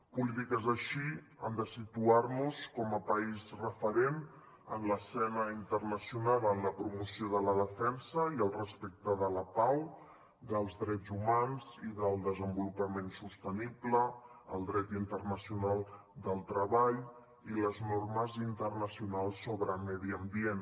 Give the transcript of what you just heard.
polítiques així han de situar nos com a país referent en l’escena internacional en la promoció de la defensa i el respecte de la pau dels drets humans i del desenvolupament sostenible el dret internacional del treball i les normes internacionals sobre medi ambient